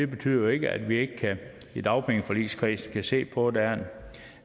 betyder jo ikke at vi ikke i dagpengeforligskredsen kan se på om der